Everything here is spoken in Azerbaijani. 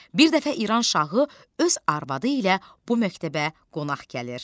Bir dəfə İran şahı öz arvadı ilə bu məktəbə qonaq gəlir.